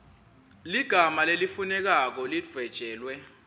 ligama lelifunekako lidvwetjelwe